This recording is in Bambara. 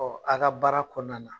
a ka baara kɔnɔna na